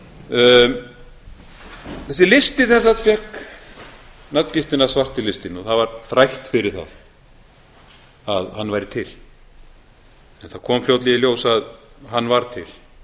landinu þessi listi sem sagt fékk nafngiftina svarti listinn og það var þrætt fyrir það að hann væri til en það kom fljótlega í ljós að hann var til